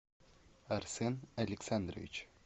арсен александрович